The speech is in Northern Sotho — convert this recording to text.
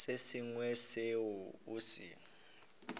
se sengwe seo o se